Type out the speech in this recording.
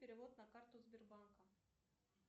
перевод на карту сбербанка